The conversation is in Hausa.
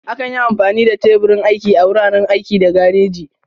Akan yi amfani da teburin aiki a wuraren aiki da gareji.